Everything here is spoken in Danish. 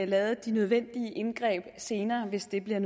lavet de nødvendige indgreb senere hvis det bliver